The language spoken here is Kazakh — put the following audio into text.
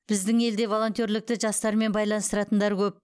біздің елде волонтерлікті жастармен байланыстыратындар көп